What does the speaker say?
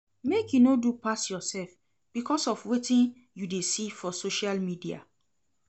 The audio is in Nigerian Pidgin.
Make you no do pass yoursef because of wetin you dey see for social media.